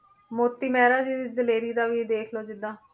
ਮੋਤੀ ਮਹਿਰਾ ਜੀ ਦੀ ਦਲੇਰੀ ਦਾ ਵੀ ਦੇਖ ਲਓ ਜਿੱਦਾਂ,